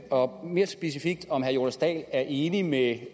og mere specifikt om herre jonas dahl er enig med